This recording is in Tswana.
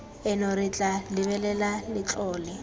eno re tla lebelela letlole